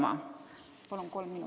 Palun kolm minutit juurde!